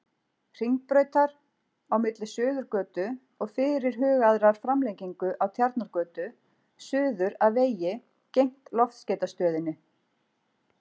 Hringbrautar, á milli Suðurgötu og fyrirhugaðrar framlengingu af Tjarnargötu, suður að vegi gegnt Loftskeytastöðinni.